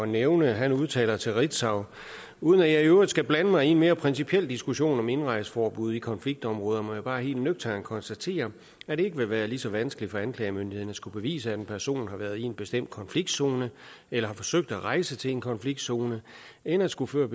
nævne han udtaler til ritzau uden at jeg i øvrigt skal blande mig i en mere principiel diskussion om indrejseforbud i konfliktområder må jeg bare helt nøgternt konstatere at det ikke vil være lige så vanskeligt for anklagemyndigheden alene at skulle bevise at en person har været i en bestemt konfliktzone eller forsøgt at rejse til en konfliktzone end at skulle føre